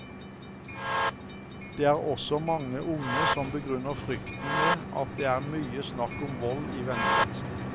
Det er også mange unge som begrunner frykten med at det er mye snakk om vold i vennekretsen.